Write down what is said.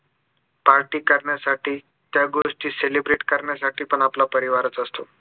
party करण्यासाठी त्या गोष्टी celebrate करण्यासाठी पण आपला परिवारच असतो